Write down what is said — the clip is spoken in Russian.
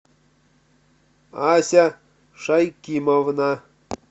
ася шайкимовна